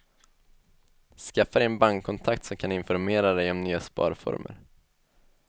Skaffa dig en bankkontakt som kan informera dig om nya sparformer.